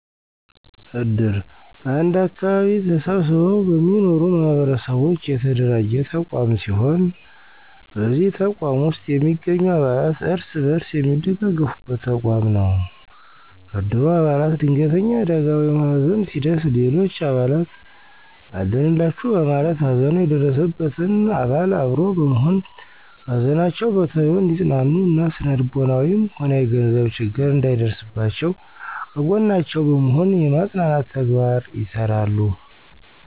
እድር በአንድ አከባቢ ተሰብስበው በሚኖሩ ማህበረሰቦች የተደራጀ ተቋም ሲሆን በዚህ ተቋም ውስጥ የሚገኙ አባላት እርስ በርስ የሚደጋገፉበት ተቋም ነው። ከእድሩ አባላት ድንገተኛ አደጋ ወይም ሀዘን ሲደርስ ሌሎች አባላት አለንላቹ በማለት ሀዘኑ የደረሰበትን አባል አብሮ በመሆን ከሀዘናቸው በቶሎ እንዲፅናኑ እና ስነልቦናዊም ሆነ የገንዘብ ችግር እንዳይደርስባቸው ከጎናቸው በመሆን የማፅናናት ተግባር ይሰራሉ።